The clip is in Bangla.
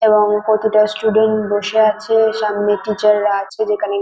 এবং কতটা স্টুডেন্ট বসে আছে। সামনে টিচার -রা আছে যেখানে --